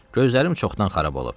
Gözlərim çoxdan xarab olub.